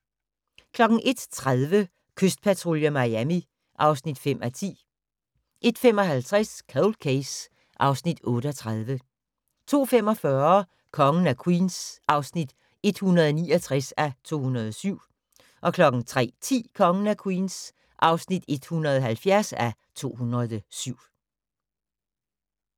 01:30: Kystpatrulje Miami (5:10) 01:55: Cold Case (Afs. 38) 02:45: Kongen af Queens (169:207) 03:10: Kongen af Queens (170:207)